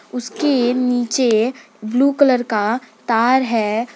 उसके नीचे blue colour का तार है।